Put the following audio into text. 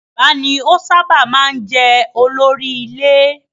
Bàbá ni ó sábà máa ń jẹ́ olórí ilé.